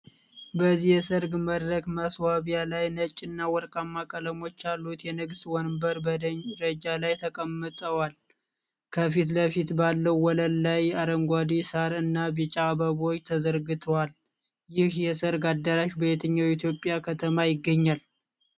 በዚህ የሰርግ መድረክ ማስዋቢያ ላይ ነጭ እና ወርቃማ ቀለሞች ያሉት የንግስት ወንበሮች በደረጃ ላይ ተቀምጠዋል። ከፊት ለፊት ባለው ወለል ላይ አረንጓዴ ሳር እና ቢጫ አበባዎች ተዘርግቷል። ይህ የሰርግ አዳራሽ በየትኛው የኢትዮጵያ ከተማ ይገኛል?